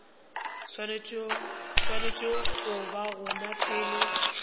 swanetše go ba gona pele